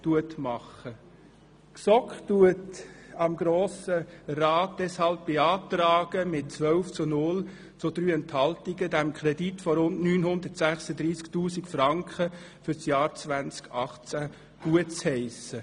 Die GSoK beantragt dem Grossen Rat deshalb mit 10 zu 0 Stimmen bei 3 Enthaltungen, diesen Kredit von rund 936 000 Franken für das Jahr 2018 gutzuheissen.